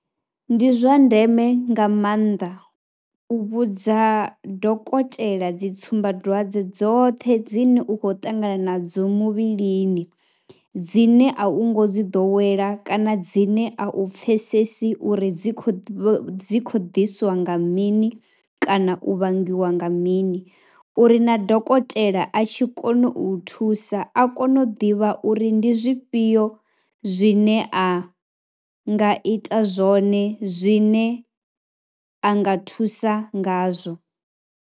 Ndi zwa ndeme nga maanḓa u vhudza dokotela dzi tsumbadwadze dzoṱhe dzine u khoy ṱangana nadzo muvhilini dzine a u ngo dzi ḓowela kana dzine a u pfhesesi uri dzi khou dzi khou ḓiswa nga mini kana u vhangiwa nga mini uri na dokotela a tshi kona u u thusa, a kone u ḓivha uri ndi zwifhio zwine a nga ita zwone zwine a nga thusa ngazwo.